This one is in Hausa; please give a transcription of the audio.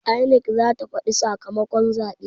INEC zata faɗi sakamakon zaɓe